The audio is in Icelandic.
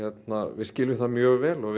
við skiljum það mjög vel og